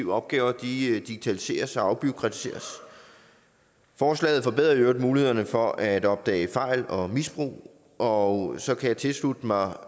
opgaver digitaliseres og afbureaukratiseres forslaget forbedrer i øvrigt mulighederne for at opdage fejl og misbrug og så kan jeg tilslutte mig